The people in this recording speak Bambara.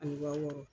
Ani waa wɔɔrɔ